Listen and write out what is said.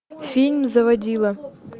фильм заводила